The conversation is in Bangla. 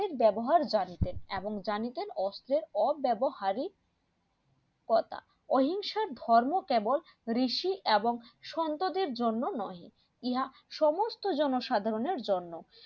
ব্যবহার জানিতেন এমন জানিতেন অস্ত্রের অব্যবহারেই কথা অহিংসার ধর্ম কেবল ঋষি এবং সন্তাদের জন্য নোই ইহা সমস্ত জনসাধারণের জন্য